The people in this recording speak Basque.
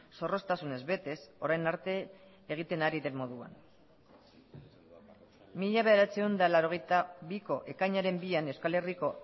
zorroztasunez betez orain arte egiten ari den moduan mila bederatziehun eta laurogeita biko ekainaren bian euskal herriko